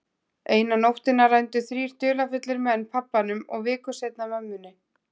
Eina nóttina rændu þrír dularfullir menn pabbanum og viku seinna mömmunni.